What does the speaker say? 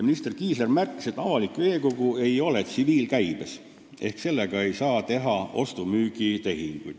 Minister Kiisler märkis, et avalik veekogu ei ole tsiviilkäibes ehk sellega ei saa teha ostu-müügitehinguid.